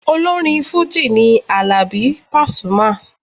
Olórin fújì ni Àlàbí Pasuma.